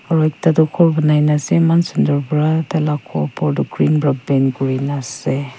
aro ekta toh khor banaina ase eman sunder pra tai la khor opor toh green pa paint kurina ase.